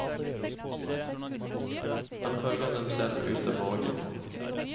Han følger dem selv ut av borgen.